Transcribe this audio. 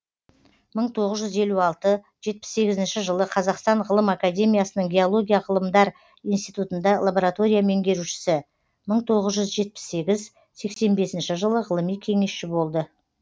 мың тоғыз жүз елу алты жетпіс сегізінші жылы қазақстан ғылым академиясының геология ғылымдар институтында лаборатория меңгерушісі мың тоғыз жүз жетпіс сегіз сексен бесінші жылы ғылыми кеңесші болды